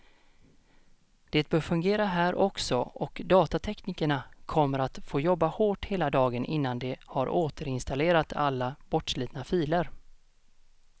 Det bör fungera här också, och datateknikerna kommer att få jobba hårt hela dagen innan de har återinstallerat alla bortslitna filer.